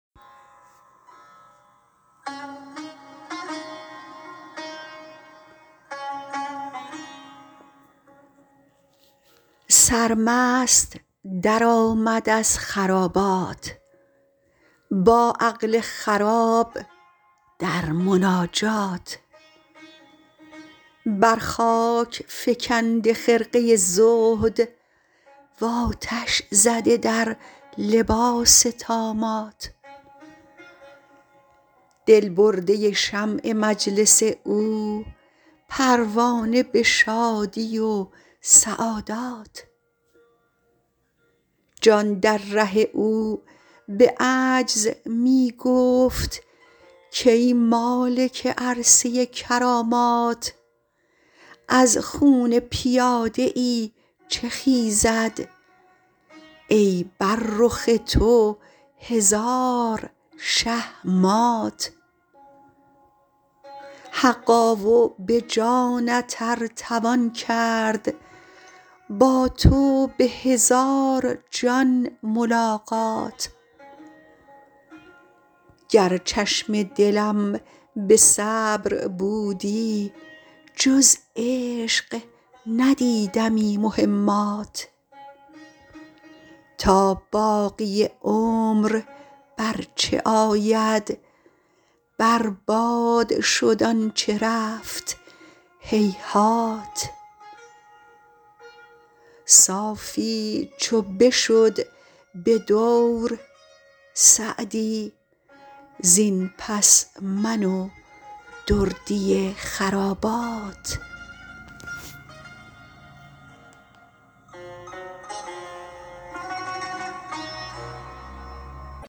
سرمست درآمد از خرابات با عقل خراب در مناجات بر خاک فکنده خرقه زهد و آتش زده در لباس طامات دل برده شمع مجلس او پروانه به شادی و سعادات جان در ره او به عجز می گفت کای مالک عرصه کرامات از خون پیاده ای چه خیزد ای بر رخ تو هزار شه مات حقا و به جانت ار توان کرد با تو به هزار جان ملاقات گر چشم دلم به صبر بودی جز عشق ندیدمی مهمات تا باقی عمر بر چه آید بر باد شد آن چه رفت هیهات صافی چو بشد به دور سعدی زین پس من و دردی خرابات